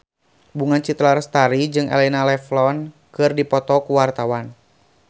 Bunga Citra Lestari jeung Elena Levon keur dipoto ku wartawan